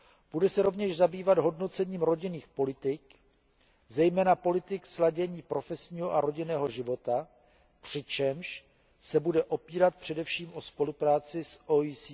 Bude se rovněž zabývat hodnocením rodinných politik, zejména politik sladění profesního a rodinného života, přičemž se bude opírat především o spolupráci s OECD.